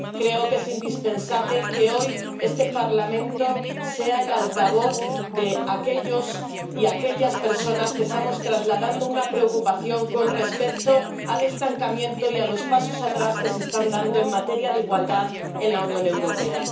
Creo que es indispensable que, hoy, este Parlamento sea el altavoz de aquellos y de aquellas personas que estamos trasladando una preocupación con respecto al estancamiento y a los pasos atrás que se están dando en materia de igualdad en la Unión Europea.